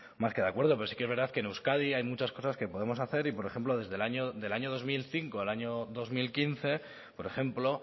más que de acuerdo pero sí que es verdad que en euskadi hay muchas cosas que podemos hacer y por ejemplo desde el año dos mil cinco al año dos mil quince por ejemplo